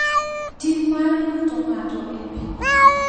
Tim mar luto ng’ato e pi,